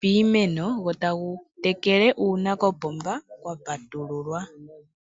piimeno go tagu tekele uuna kopomba kwapatululwa.